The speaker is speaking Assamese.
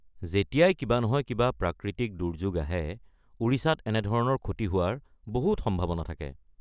যেতিয়াই কিবা নহয় কিবা প্ৰাকৃতিক দুৰ্যোগ আহে, ওড়িশাত এনেধৰণৰ ক্ষতি হোৱাৰ বহুত সম্ভাৱনা থাকে।